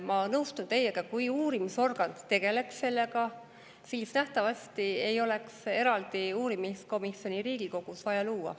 Ma nõustun teiega, et kui uurimisorgan tegeleb sellega, siis nähtavasti ei oleks eraldi uurimiskomisjoni Riigikogus vaja luua.